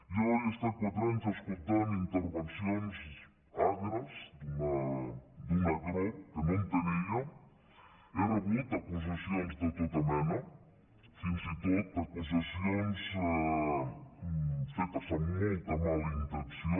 jo he estat quatre anys escoltant intervencions agres d’una agror que no entenia he rebut acusacions de tota mena fins i tot acusacions fetes amb molta mala intenció